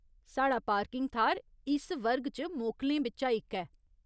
साढ़ा पार्किंग थाह्‌र इस वर्ग च मोकलें बिच्चा इक ऐ।